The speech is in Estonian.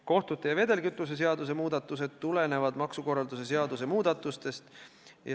Kohtute seaduse ja vedelkütuse seaduse muudatused on kaasnevad muudatused ja tulenevad maksukorralduse seaduse muudatustest.